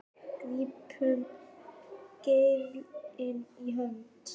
grípum geirinn í hönd